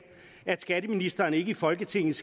at skatteministeren ikke i folketingets